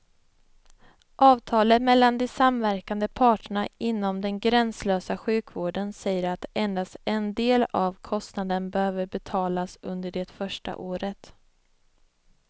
Avtalet mellan de samverkande parterna inom den gränslösa sjukvården säger att endast en del av kostnaden behöver betalas under det första året.